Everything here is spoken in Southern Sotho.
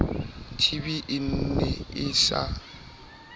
tb e ne e sa